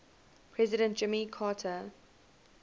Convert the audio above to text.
president jimmy carter